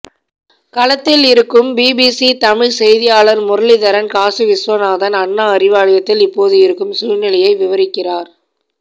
களத்தில் இருக்கும் பிபிசி தமிழ் செய்தியாளர் முரளிதரன் காசிவிஸ்வநாதன் அண்ணா அறிவாலயத்தில் இப்போது இருக்கும் சூழ்நிலையை விவரிக்கிறார்